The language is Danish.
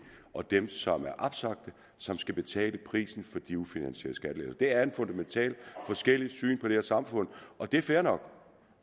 og dem som er opsagte som skal betale prisen for de ufinansierede skattelettelser det er et fundamentalt forskelligt syn på det her samfund og det er fair nok